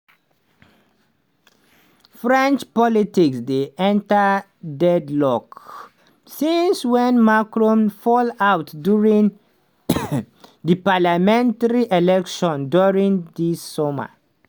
french politics dey enta deadlock since wen macron fallout during di parliamentary elections during dis summer.